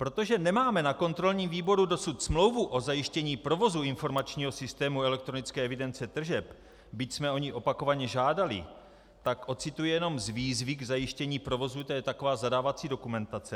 Protože nemáme na kontrolním výboru dosud smlouvu o zajištění provozu informačního systému elektronické evidence tržeb, byť jsme o ni opakovaně žádali, tak ocituji jenom z výzvy k zajištění provozu, to je taková zadávací dokumentace.